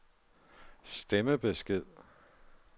stemmebesked